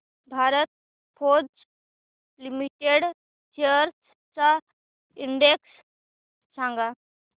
Bharat Forge limited shares चा index सांगा